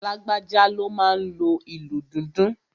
Lágbájá ló máa n lo ìlù dundun